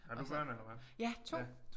Har du børn eller hvad?